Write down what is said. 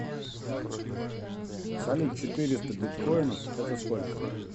салют четыреста биткоинов это сколько